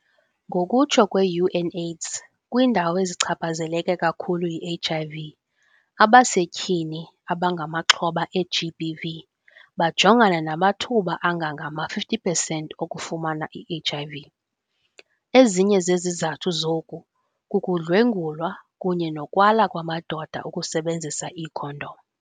Ngokutsho kwe-UNAIDS, kwiindawo ezichaphazeleke kakhulu yi-HIV, abasetyhini abangamaxhoba e-GBV bajongana namathuba angangama-50 percent okufumana i-HIV. Ezinye zezizathu zoku kukudlwengulwa kunye nokwala kwamadoda ukusebenzisa iikhondom.